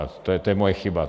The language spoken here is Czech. A to je moje chyba.